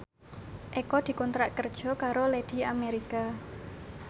Eko dikontrak kerja karo Lady America